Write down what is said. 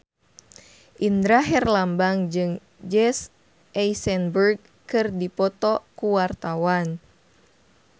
Indra Herlambang jeung Jesse Eisenberg keur dipoto ku wartawan